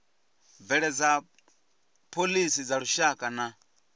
bveledza phoḽisi dza lushaka na